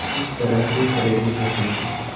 किस तरह से प्रेरित होते हैं